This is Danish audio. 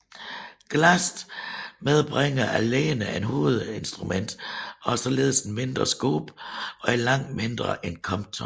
GLAST medbringer alene ét hovedinstrument og har således et mindre scope og er langt mindre end Compton